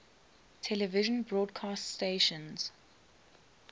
television broadcast stations